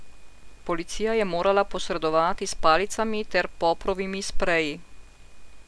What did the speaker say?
Policija je morala posredovati s palicami ter poprovimi spreji.